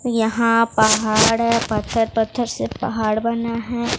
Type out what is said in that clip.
यहां पहाड़ है पत्थर पत्थर से पहाड़ बना है।